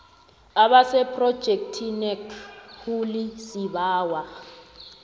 abasephrojekhthinakho le sibawa